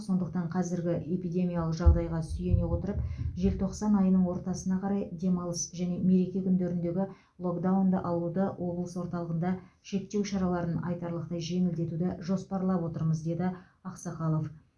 сондықтан қазіргі эпидемиялық жағдайға сүйене отырып желтоқсан айының ортасына қарай демалыс және мереке күндеріндегі локдаунды алуды облыс орталығында шектеу шараларын айтарлықтай жеңілдетуді жоспарлап отырмыз деді ақсақалов